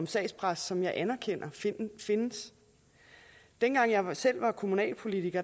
sagspres som jeg anerkender findes dengang jeg selv var kommunalpolitiker